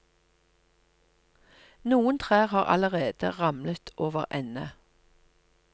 Noen trær har allerede ramlet overende.